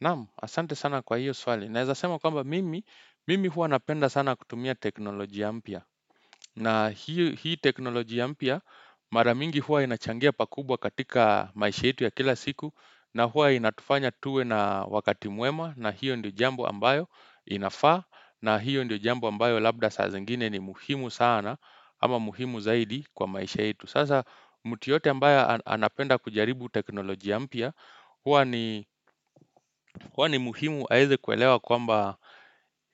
Naam, asante sana kwa hiyo swali. Naeza sema kwamba mimi, mimi hua napenda sana kutumia teknolojia mpya. Na hii teknolojia mpya, mara mingi hua inachangia pakubwa katika maisha yetu ya kila siku. Na hua inatufanya tuwe na wakati mwema. Na hiyo ndio jambo ambayo inafaa. Na hiyo ndio jamb ambayo labda saa zingine ni muhimu sana. Ama muhimu zaidi kwa maisha yetu. Sasa, mtu yeyote ambaye anapenda kujaribu teknolojia mpya. Huwa ni muhimu aweze kuelewa kwamba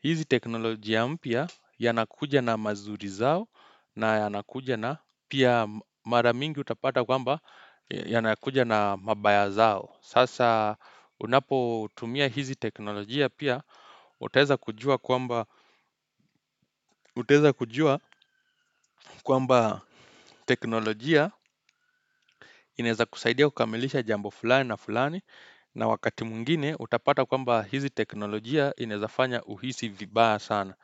hizi teknolojia mpya yanakuja na mazuri zao na yanakuja na pia mara mingi utapata kwamba yanakuja na mabaya zao. Sasa unapotumia hizi teknolojia pia, utaweza kujua kwamba teknolojia inaeza kusaidia kukamilisha jambo fulani na fulani na wakati mwingine, utapata kwamba hizi teknolojia inaeza fanya uhisi vibaya sana.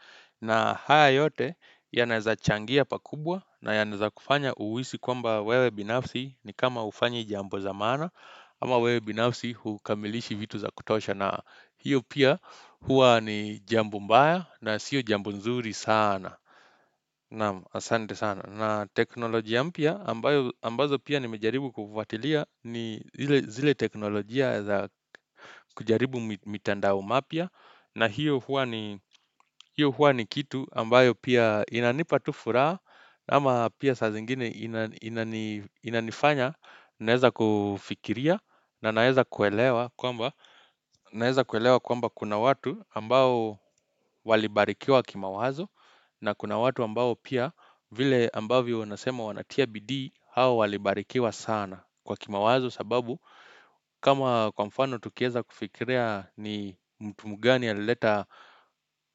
Na haya yote, yanaeza changia pakubwa na yanaeza kufanya uhisi kwamba wewe binafsi ni kama hufanyi jambo za maana Ama wewe binafsi hukamilishi vitu za kutosha, na hiyo pia huwa ni jambo mbaya na sio jambo nzuri sana. Na teknoloji ya mpya ambazo pia nimejaribu kufuatilia ni zile teknoloji ya za kujaribu mitandao mapya, na hiyo huwa ni kitu ambayo pia inanipa tu furaha Ama pia saa zingine inanifanya naeza kufikiria na naeza kuelewa kwamba kuna watu ambao walibarikiwa kimawazo, na kuna watu ambao pia vile ambavyo unasema wanatia bidii, hao walibarikiwa sana kwa kimawazo sababu kama kwa mfano tukieza kufikiria ni mtu mgani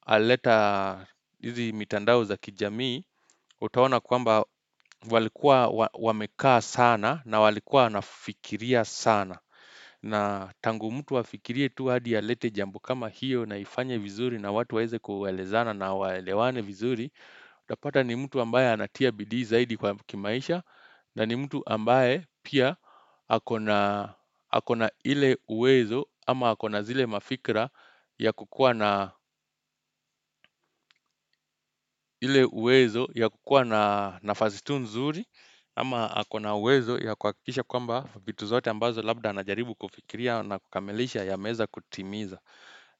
alileta hizi mitandao za kijamii, utaona kwamba walikuwa wamekaa sana na walikuwa wanafikiria sana. Na tangu mtu afikirie tu hadi alete jambo kama hiyo na ifanye vizuri na watu waeze kuelezana na waelewane vizuri, utapata ni mtu ambaye anatia bidii zaidi kwa kimaisha, na ni mtu ambaye pia ako na ile uwezo, ama ako na zile mafikra ya kukua na ile uwezo ya kukua na nafasi tu nzuri Ama ako na uwezo ya kuhakikisha kwamba vitu zote ambazo labda anajaribu kufikiria na kukamilisha yameweza kutimiza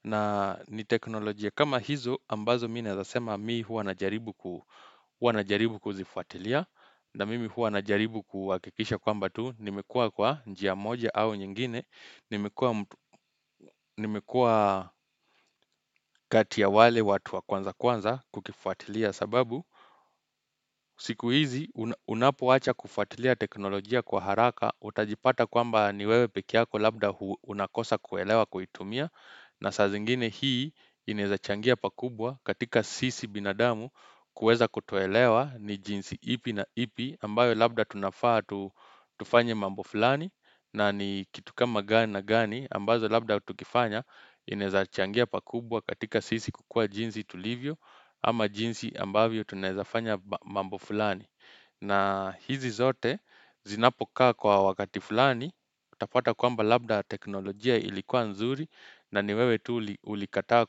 na ni teknolojia kama hizo ambazo mi naeza sema mi hua najaribu kuzifuatilia na mimi hua najaribu kuhakikisha kwamba tu nimekua kwa njia moja au nyingine Nimekua kati ya wale watu wa kwanza kwanza kukifuatilia sababu siku hizi unapoacha kufuatilia teknolojia kwa haraka utajipata kwamba ni wewe pekee yako labda unakosa kuelewa kuitumia na saa zingine hii inaeza changia pakubwa katika sisi binadamu kuweza kutoelewa ni jinsi ipi na ipi ambayo labda tunafaa tufanye mambo fulani na ni kitu kama gani na gani ambazo labda tukifanya inaeza changia pakubwa katika sisi kukua jinsi tulivyo ama jinsi ambavyo tunaeza fanya mambo fulani, na hizi zote zinapokaa kwa wakati fulani utapata kwamba labda teknolojia ilikuwa nzuri na ni wewe tu ulikataa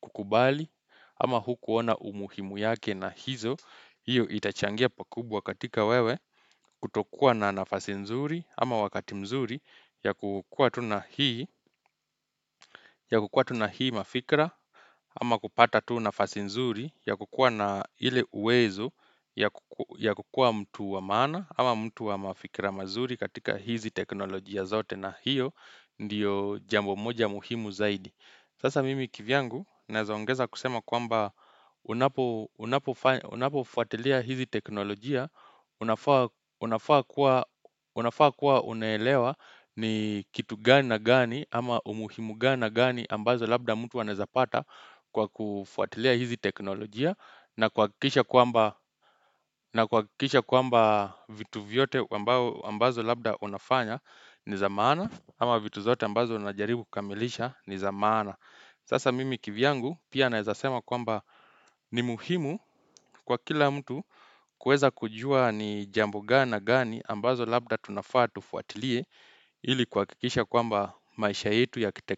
kukubali ama hukuona umuhimu yake na hizo hiyo itachangia pakubwa katika wewe kutokua na nafasi nzuri ama wakati mzuri ya kukua tu na hii mafikra ama kupata tu nafasi nzuri ya kukua na ile uwezo ya kukua mtu wa maana ama mtu wa mafikra mazuri katika hizi teknolojia zote, na hiyo ndiyo jambo moja muhimu zaidi. Sasa mimi kivyangu, naeza ongeza kusema kwamba unapofuatilia hizi teknolojia Unafaa kuwa unaelewa ni kitu gani na gani ama umuhimu gani na gani ambazo labda mtu anaeza pata kwa kufuatilia hizi teknolojia. Na kuhakikisha kwamba vitu vyote ambazo labda unafanya ni za maana ama vitu zote ambazo unajaribu kukamilisha ni za maana Sasa mimi kivyangu pia naeza sema kwamba ni muhimu kwa kila mtu kuweza kujua ni jambo gani na gani ambazo labda tunafaa tufuatilie ili kuhakikisha kwamba maisha yetu ya kitekno.